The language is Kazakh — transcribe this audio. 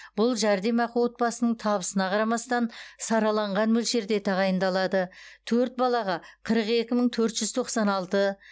бұл жәрдемақы отбасының табысына қарамастан сараланған мөлшерде тағайындалады төрт балаға қырық екі мың төрт жүз тоқсан алты